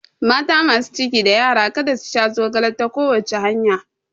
Mata masu ciki da yara kada su sha zogale ta kowace hanya